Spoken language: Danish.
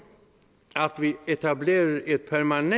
at vi etablerer et permanent